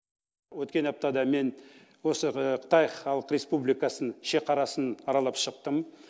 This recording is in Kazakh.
өткен аптада мен осы қытай халық республикасын шеқарасын аралап шықтым